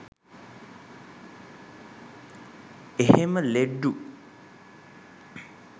එහෙම ලෙඩ්ඩු